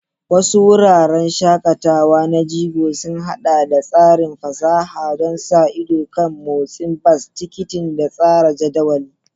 Wasu wuraren shakatawa na jigo sun haɗa da tsarin fasaha don sa ido kan motsin bas, tikitin, da tsara jadawalin.